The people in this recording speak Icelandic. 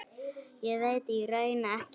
Ég veit í raun ekkert.